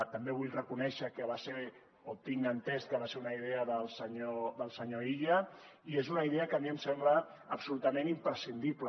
també vull reconèixer que va ser o tinc entès que va ser una idea del senyor illa i és una idea que a mi em sembla absolutament imprescindible